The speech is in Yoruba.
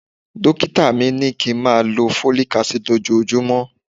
Dókítà mi ní kí ń máa lọ Folic Acid lójojúmọ́.